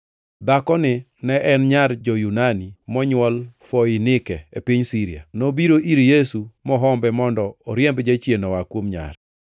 Dhakoni ne en nyar jo-Yunani monywol Foinike e piny Siria. Nobiro ir Yesu mohombe mondo oriemb jachien oa kuom nyare.